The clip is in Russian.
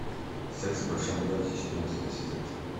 секс в большом городе четырнадцатый сезон